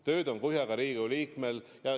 Tööd on kuhjaga Riigikogu liikmel.